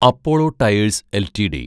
Apollo Tyres LTD